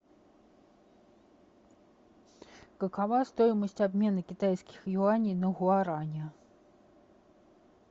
какова стоимость обмена китайских юаней на гуарани